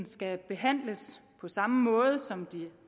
skal behandles på samme måde som de